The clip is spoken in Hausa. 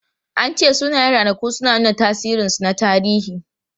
An ce sunayen ranaku suna nuna tasirinsu na tarihi.